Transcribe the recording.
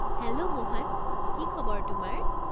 Hello Mohan, কি খবৰ তোমাৰ?